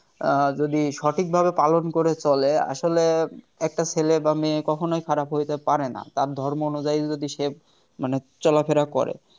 আহ যদি সঠিকভাবে পালন করে চলে আসলে একটা ছেলে বা মেয়ে কখনোই খারাপ হইতে পারে না তার ধর্ম অনুযায়ী যদি সে মানে চলাফেরা করে